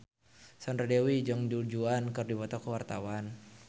Sandra Dewi jeung Du Juan keur dipoto ku wartawan